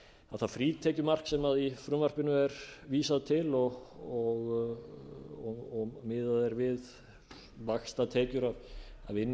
það frítekjumark sem í frumvarpinu er vísað til og miðað er við vaxtatekjur af